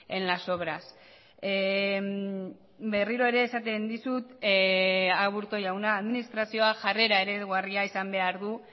en las obras berriro ere esaten dizut aburto jauna administrazioa jarrera eredugarria izan behar du